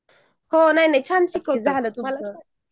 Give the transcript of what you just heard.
हो नाही नाही छान झाला तुमच